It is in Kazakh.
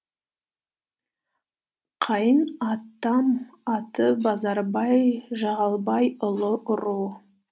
қайын атам аты базарбай жағалбайлы